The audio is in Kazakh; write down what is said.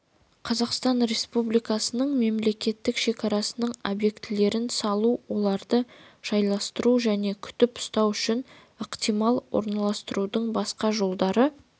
қазақстан республикасының мемлекеттік шекарасының объектілерін салу оларды жайластыру және күтіп-ұстау үшін ықтимал орналастырудың басқа жолдары